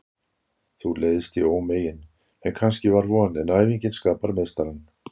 Þú leiðst í ómegin sem kannski var von, en æfingin skapar meistarann.